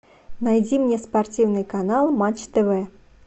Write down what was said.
найди мне спортивный канал матч тв